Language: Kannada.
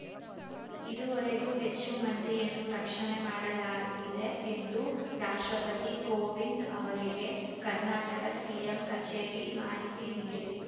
ಇದುವರೆಗೂ ಹೆಚ್ಚು ಮಂದಿಯನ್ನು ರಕ್ಷಣೆ ಮಾಡಲಾಗಿದೆ ಎಂದು ರಾಷ್ಟ್ರಪತಿ ಕೋವಿಂದ್‌ ಅವರಿಗೆ ಕರ್ನಾಟಕ ಸಿಎಂ ಕಚೇರಿ ಮಾಹಿತಿ ನೀಡಿದೆ